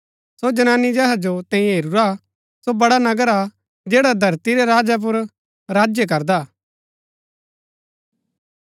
सो जनानी जेहा जो तैंई हेरूरा सो बड़ा नगर हा जैडा धरती रै राजा पुर राज्य करदा हा